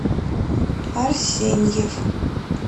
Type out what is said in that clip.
арсеньев